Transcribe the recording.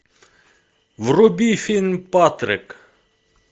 вруби фильм патрик